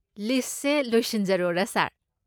ꯂꯤꯁꯠꯁꯦ ꯂꯣꯏꯁꯤꯟꯖꯔꯣꯔꯥ, ꯁꯥꯔ꯫